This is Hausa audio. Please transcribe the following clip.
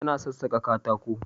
Tana sassaƙa katako